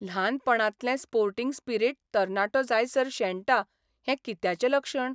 ल्हानपणांतलें sporting spirit तरणाटो जायसर शेणटा हें कित्याचें लक्षण?